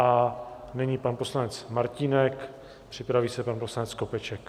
A nyní pan poslanec Martínek, připraví se pan poslanec Skopeček.